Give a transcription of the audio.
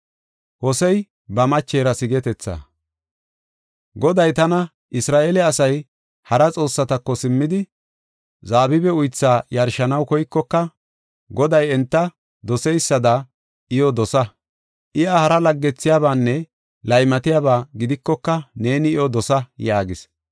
Goday tana, “Isra7eele asay hara xoossatako simmidi, zabibe uythaa yarshanaw koykoka, Goday enta doseysada iyo dosa. Iya hara laggethiyabanne laymatiyaba gidikoka neeni iyo dosa” yaagis.